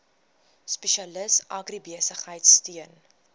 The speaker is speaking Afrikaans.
spesialis agribesigheid steun